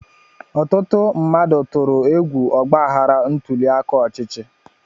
Ọtụtụ mmadụ tụrụ egwu ọgbaghara ntuli aka ọchịchị.